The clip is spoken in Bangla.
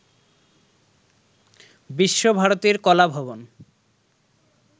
বিশ্বভারতীর কলাভবন